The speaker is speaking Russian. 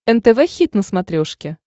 нтв хит на смотрешке